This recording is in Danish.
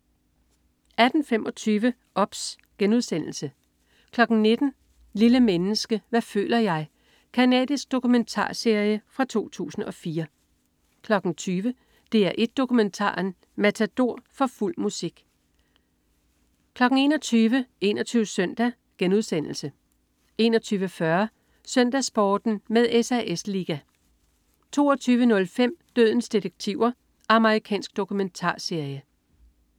18.25 OBS* 19.00 Lille menneske. Hvad føler jeg? Canadisk dokumentarserie fra 2004 20.00 DR1 Dokumentaren: Matador. For fuld musik 21.00 21 Søndag* 21.40 SøndagsSporten med SAS Liga 22.05 Dødens detektiver. Amerikansk dokumentarserie